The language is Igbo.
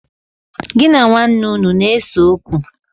Gi na nwaane unu na-ese okwu?